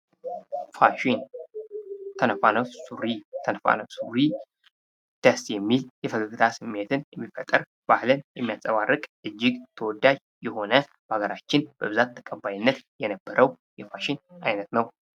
ፋሽን፦ ተነፋነፍ ሱሪ ደስ የሚል የፈገግታ ስሜትን የሚፈጥር፤ ባህልን የሚያንፀባርቅ እጅግ ተወዳጅ የሆነ በሀገራችን በብዛት ተቀባይነት የነበረው የፋሽን አይነት ነው ።